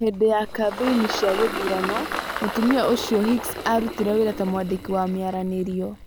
Hindi ya kambeini cia gĩthurano, mũtumia ũcio Hicks arutire wĩra ta mwandĩki wa mĩaranĩrio.